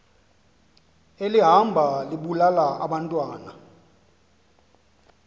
elihamba libulala abantwana